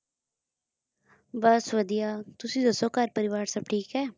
ਬੱਸ ਵਧੀਆ ਤੁਸੀਂ ਦੱਸੋ ਘਰ ਪਰਿਵਾਰ ਸਭ ਠੀਕ ਹੈ?